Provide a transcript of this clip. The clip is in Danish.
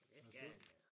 Det skal han da